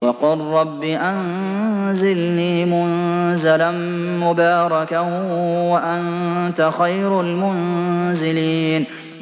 وَقُل رَّبِّ أَنزِلْنِي مُنزَلًا مُّبَارَكًا وَأَنتَ خَيْرُ الْمُنزِلِينَ